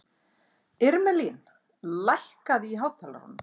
Irmelín, lækkaðu í hátalaranum.